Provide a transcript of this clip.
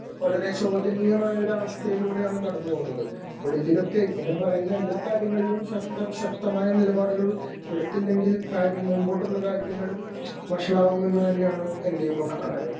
വളരെ ശോചനീയമായ ഒരു അവസ്ഥയിലൂടെയാണ് കടന്ന് പോകുന്നത് . ഇതിലൊക്കെ ഇങ്ങനെ പറയുന്ന എല്ലാ കാര്യങ്ങളിലും സർക്കാർ ശക്തമായ നിലപാടുകൾ എടുത്തില്ലെങ്കിൽ മുമ്പോട്ടുള്ള കാര്യങ്ങൾ വഷളാകുമെന്ന് തന്നെയാണ് എന്റെയും അഭിപ്രായം .